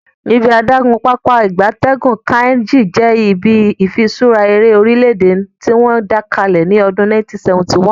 Ibi adagun Pápá ìgbatẹ́gùn Kainji je ibi ifiṣura ere orile-ede tiwon da kale ni odun 1971